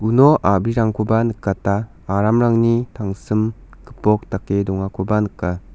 no a·brirangkoba nikata aramrangni tangsim gipok dake dongakoba nika.